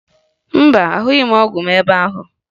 Mba, ahụghị m ọgwụ m ebe ahụ